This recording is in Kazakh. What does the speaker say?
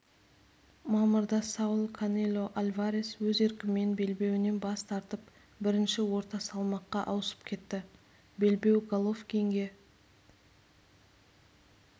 мамырда сауль канело альварес өз еркімен белбеуінен бас тартып бірінші орта салмаққа ауысып кетті белбеу головкинге